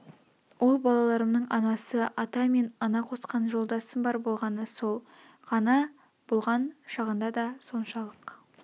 ол балаларымның анасы ата мен ана қосқан жолдасым бар болғаны сол ғана болған шағында да соншалық